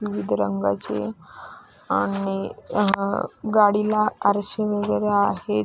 विविध रंगाचे आणि गाडीला आरशे वगैरे आहेत.